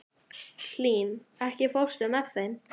Hlín, ekki fórstu með þeim?